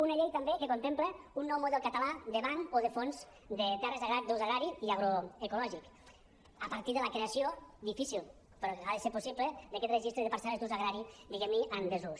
una llei també que contempla un nou model català de banc o de fons de terres d’ús agrari i agroecològic a partir de la creació difícil però ha de ser possible d’aquest registre de parcel·les d’ús agrari diguem ne en desús